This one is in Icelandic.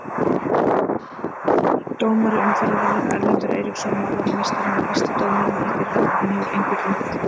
Dómari umferðarinnar: Erlendur Eiríksson Málarameistarinn var besti dómarinn í fyrra og hann hefur engu gleymt.